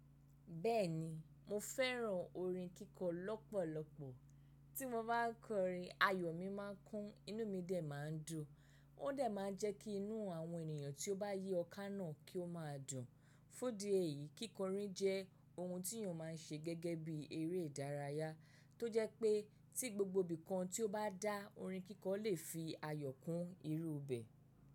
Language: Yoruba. Bẹ́ẹ̀ni, mo fẹ́ràn orin kíkọ lọ́pọ̀lọpọ̀. Tí mo bá kọrin, ayọ̀ mi máa ń kún, inú mi dẹ máa ń dùn, ó dẹ máa ń jẹ́ kí inú àwọn ènìyàn tí ó bá yí ọ́ ká náà kí ó máa dùn. Fún di èyí, kíkọrin jẹ́ ohun tí èèyàn máa ń ṣe gẹ́gẹ́ bí eré ìdárayá, tó jẹ́ pé tí gbogbo ibìkan tí ó bá dá orin kíkọ lè fi ayọ̀ kún irú bẹ̀ẹ.